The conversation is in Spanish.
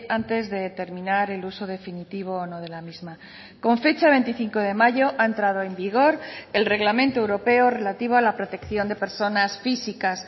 antes de terminar el uso definitivo o no de la misma con fecha veinticinco de mayo ha entrado en vigor el reglamento europeo relativo a la protección de personas físicas